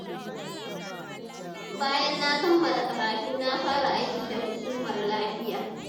Bayan na kammala karatu, na fara aiki da Hukumar Lafiya.